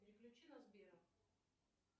переключи на сбера